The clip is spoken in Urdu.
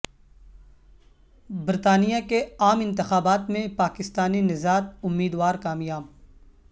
برطانیہ کے عام انتخابات میں پاکستانی نژاد امیدوار کامیاب